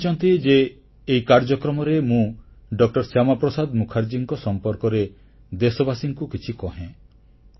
ସେ ଚାହିଁଛନ୍ତି ଯେ ଏହି କାର୍ଯ୍ୟକ୍ରମରେ ମୁଁ ଡ ଶ୍ୟାମାପ୍ରସାଦ ମୁଖାର୍ଜୀଙ୍କ ସମ୍ପର୍କରେ ଦେଶବାସୀମାନଙ୍କୁ କିଛି କହେ